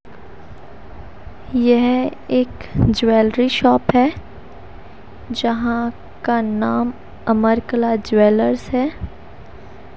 यह एक jewellery shop है जहां का नाम अमरकला ज्वेलर्स है।